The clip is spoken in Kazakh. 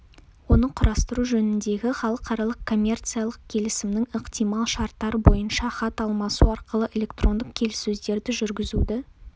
оны құрастыру жөніндегі халықаралық коммерциялық келісімнің ықтимал шарттары бойынша хат алмасу арқылы электрондық келіссөздерді жүргізуді